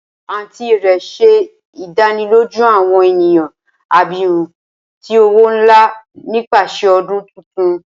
Aunty rẹ ṣe idaniloju awọn eniyan abirun ti owo nla nipasẹ ọdun tuntun.